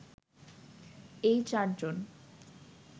এই চার জন